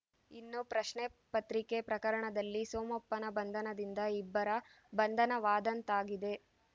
ಇನ್ನು ಪ್ರಶ್ನೆ ಪತ್ರಿಕೆ ಪ್ರಕರಣದಲ್ಲಿ ಸೋಮಪ್ಪನ ಬಂಧನದಿಂದ ಇಬ್ಬರ ಬಂಧನವಾದಂತಾಗಿದೆ